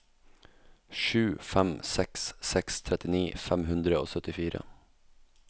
sju fem seks seks trettini fem hundre og syttifire